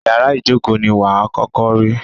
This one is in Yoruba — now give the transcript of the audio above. Ìyárá ìjókó ní wà à kọ́kọ́ rí.